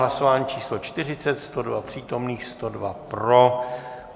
Hlasování číslo 40, 102 přítomných, 102 pro.